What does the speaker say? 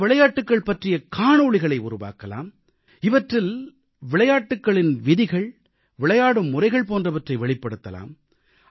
இந்த விளையாட்டுகள் பற்றிய காணொளிகளை உருவாக்கலாம் இவற்றில் விளையாட்டுகளின் விதிகள் விளையாடும் முறைகள் போன்றவற்றை வெளிப்படுத்தலாம்